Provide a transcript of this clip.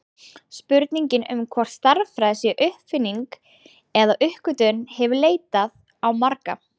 Spurningin um hvort stærðfræði sé uppfinning eða uppgötvun hefur leitað á marga.